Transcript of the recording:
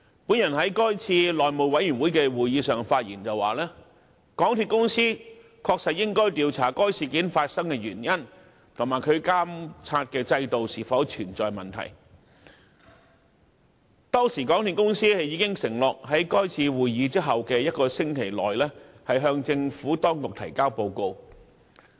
我在該次內務委員會會議上發言時指出，"港鐵公司應調查該事件發生的原因及其監察制度是否存在問題......港鐵公司已承諾於是次會議後一星期內向政府當局提交報告"。